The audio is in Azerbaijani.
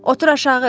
Otur aşağı.